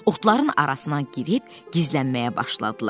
Oxtların arasına girib gizlənməyə başladılar.